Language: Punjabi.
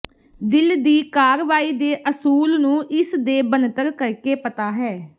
ਦਿਲ ਦੀ ਕਾਰਵਾਈ ਦੇ ਅਸੂਲ ਨੂੰ ਇਸ ਦੇ ਬਣਤਰ ਕਰਕੇ ਪਤਾ ਹੈ